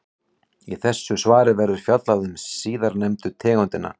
Í þessu svari verður fjallað um síðarnefndu tegundina.